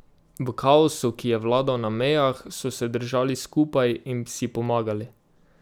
V kaosu, ki je vladal na mejah, so se držali skupaj in si pomagali.